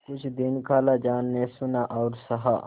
कुछ दिन खालाजान ने सुना और सहा